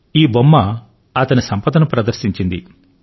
ఈ బొమ్మ అతని సంపదను ప్రదర్శించింది